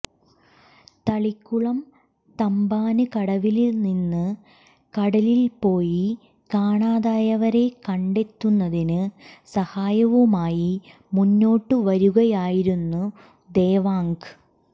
തളിക്കുളം തമ്പാന്കടവില്നിന്ന് കടലില്പ്പോയി കാണാതായവരെ കണ്ടെത്തുന്നതിന് സഹായവുമായി മുന്നോട്ടു വരുകയായിരുന്നു ദേവാംഗ്